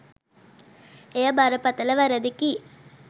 එය බරපතළ වරදකි